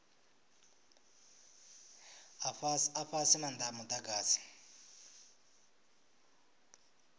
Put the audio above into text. a fhasi maanda a mudagasi